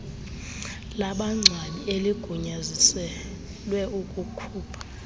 labangcwabi eligunyaziselwe ukukhupha